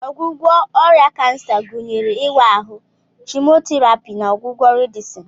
Ọgwụgwọ ọrịa kansa gụnyere ịwa ahụ, chemotherapy, na ọgwụgwọ radieshon.